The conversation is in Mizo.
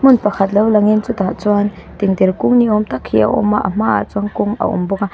hmun pakhat lo lang in chutah chuan tengtere kung ni awm tak hi a awm a a hma ah chuan kawng a awm bawk a.